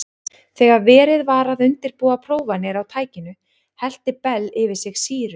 Þegar verið var að undirbúa prófanir á tækinu hellti Bell yfir sig sýru.